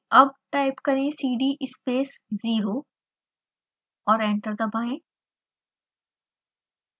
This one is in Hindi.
अब टाइप करें cd space 0 ज़ीरो और एंटर दबाएं